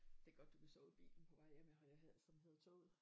Det er godt du kan sove i bilen på vej hjem ja som hedder toget